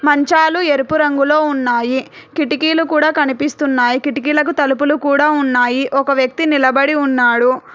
మంచాలు ఎరుపు రంగులో ఉన్నాయి కిటికీలు కూడా కనిపిస్తున్నాయి కిటికీలకు తలుపులు కూడా ఉన్నాయి ఒక వ్యక్తి నిలబడి ఉన్నాడు.